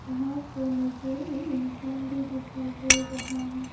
यहां पर मुझे एक इंसान भी दिखाई दे रहा है।